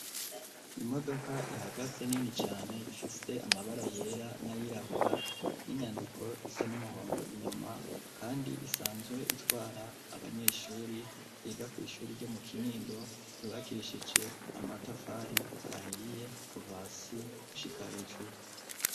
Imodoka ihagaze nini cane ifise amabara yera n'ayirabura n'inyandiko risa n'umuhondo inyuma, kandi isanzwe itwara abanyeshuri iga kw'ishuri ryo mu kinindo ryubakishije amatafari ahiye kuva si ushika hejuru.